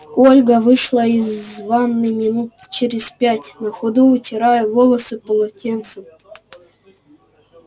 ольга вышла из ванны минут через пять на ходу вытирая волосы полотенцем